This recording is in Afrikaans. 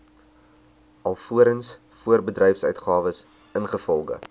alvorens voorbedryfsuitgawes ingevolge